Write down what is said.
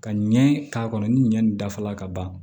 Ka ɲɛ k'a kɔnɔ ni ɲɛ nin dafala ka ban